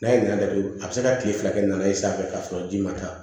N'a ye nɛn datugu a bɛ se ka tile fila kɛ nan'a ye sanfɛ k'a sɔrɔ ji ma taa